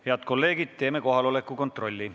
Head kolleegid, teeme kohaloleku kontrolli.